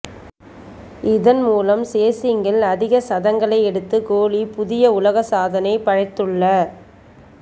இதன் மூலம் சேசிங்கில் அதிக சதங்களை எடுத்து கோலி புதிய உலக சாதனை படைத்துள